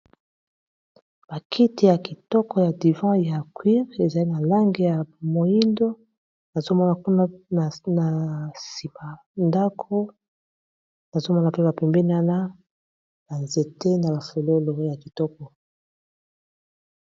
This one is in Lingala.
Bakiti ya kitoko ya divan ya cuire, ezali na langi ya moindo, nazomona kuna na sima ndako, nazomona pe na pembini ba nzete na ba fololo ya kitoko.